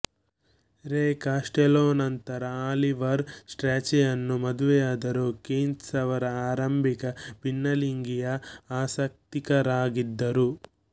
ರೇ ಕಾಸ್ಟೆಲ್ಲೋನಂತರ ಆಲಿವರ್ ಸ್ಟ್ರ್ಯಾಚಿಯನ್ನು ಮದುವೆಯಾದರು ಕೀನ್ಸ್ ಅವರ ಆರಂಭಿಕ ಭಿನ್ನಲಿಂಗೀಯ ಆಸಕ್ತಿಕರಾಗಿದ್ದರು